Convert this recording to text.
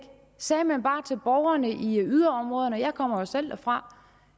sagde man bare til borgerne i yderområderne jeg kommer jo selv derfra